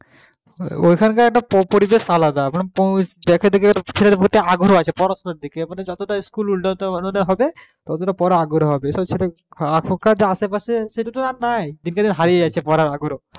ঐখানকার একটা পরিবেশ আলাদা মানে ছেলেদের একটা আগ্রহ আছে পড়াশোনার দিকে মানে যতটা school উন্নতমানের হবে ততটা